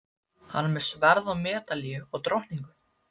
Hann var með sverð og medalíu og drottningu.